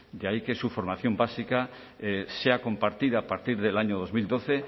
de ahí que su formación básica sea compartida a partir del año dos mil doce